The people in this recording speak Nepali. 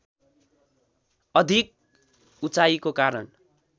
अधिक उचाइको कारण